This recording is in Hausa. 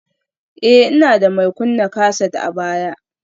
Ee, ina da mai kunna kaset a baya